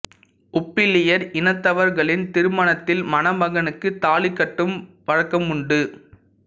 உப்பிலியர் இனத்தவர்களின் திருமணத்தில் மணமகனுக்கு தாலி கட்டும் வழக்கம் உண்டு